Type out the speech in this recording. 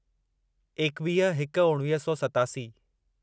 एकवीह हिक उणिवीह सौ सतासी